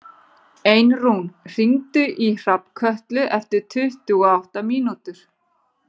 Einrún, hringdu í Hrafnkötlu eftir tuttugu og átta mínútur.